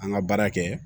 An ka baara kɛ